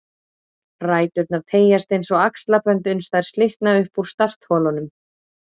Ræturnar teygjast eins og axlabönd uns þær slitna upp úr startholunum